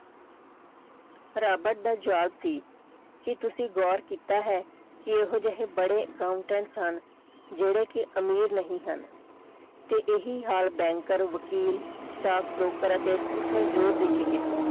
Robert ਦਾ ਜਵਾਬ ਸੀ ਕਿ ਤੁਸੀਂ ਗੌਰ ਕੀਤਾ ਹੈ ਕਿ ਇਹੋ ਜਿਹੇ ਬੜੇ accountant ਸਨ ਜਿਹੜੇ ਕਿ ਅਮੀਰ ਨਹੀਂ ਹਨ ਤੇ ਇਹੀ ਹਾਲ banker ਵਕੀਲ staff broker ਅਤੇ ਉਸਨੇ ਜ਼ੋਰ ਦੇ ਕੇ ਕਿਹਾ।